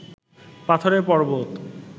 পাথরের পর্বত